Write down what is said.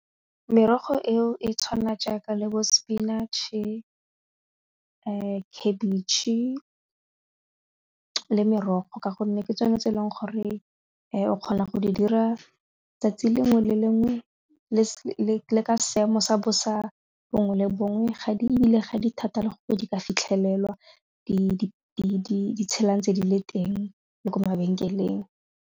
Merogo eo e tshwana jaaka le bo spinach-e, khabetšhe le merogo ka gonne ke tsone tse e leng gore o kgona go di dira tsatsi lengwe le lengwe le ka seemo sa bosa bongwe le bongwe ga di thata le gore di ka fitlhelelwa di tshela ntse di le teng le ko mabenkeleng.